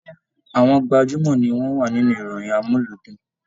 Àwọn gbajumọ ní wọn wà nínú ìròyìn amuludun.